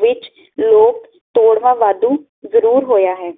ਵਿੱਚ ਲੋਕ ਤੋੜਵਾਂ ਵਾਧੂ ਜਰੂਰ ਹੋਇਆ ਹੈ